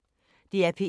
DR P1